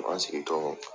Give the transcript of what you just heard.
An ma sigi tɔw